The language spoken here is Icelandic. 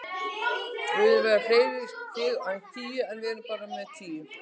Við viljum vera með fleiri stig en tíu, en við erum bara með tíu.